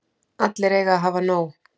Allir eiga að hafa nóg.